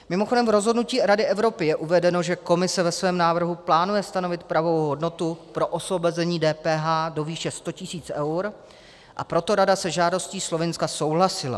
Mimochodem v rozhodnutí Rady Evropy (?) je uvedeno, že Komise ve svém návrhu plánuje stanovit pravou hodnotu pro osvobození DPH do výše 100 tisíc eur, a proto rada se žádostí Slovinska souhlasila.